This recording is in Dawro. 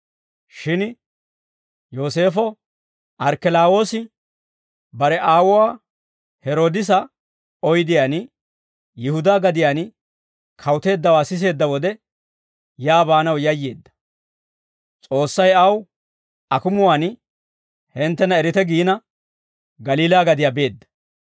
Shin Yooseefo Arkkelawoosi bare aawuwaa Heroodisa oydiyaan Yihudaa gadiyaan kawuteeddawaa siseedda wode, yaa baanaw yayyeedda; S'oossay aw akumuwaan hinttena erite giina, Galiilaa gadiyaa beedda.